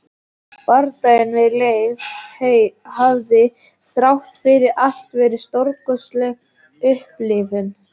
Bardaginn við Leif hafði þrátt fyrir allt verið stórkostleg upplifun.